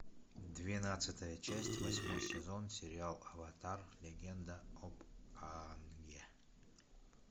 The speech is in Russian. двенадцатая часть восьмой сезон сериал аватар легенда об аанге